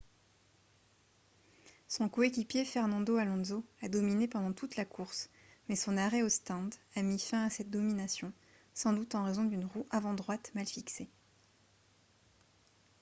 son coéquipier fernando alonso a dominé pendant toute la course mais son arrêt au stand a mis fin à cette domination sans doute en raison d'une roue avant droite mal fixée